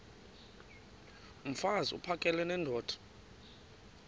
mfaz uphakele nendoda